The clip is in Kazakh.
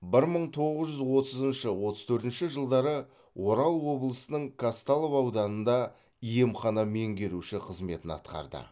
бір мың тоғыз жүз отызыншы отыз төртінші жылдары орал облысының казталов ауданында емхана меңгеруші қызметін атқарды